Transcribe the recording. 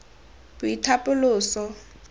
boitapoloso